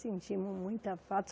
Sentimos muita falta.